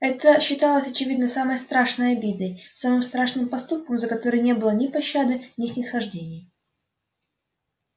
это считалось очевидно самой страшной обидой самым страшным поступком за который не было ни пощады ни снисхождений